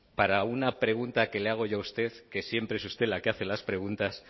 para una pregunta que le hago yo a usted que siempre es usted la que hace las preguntas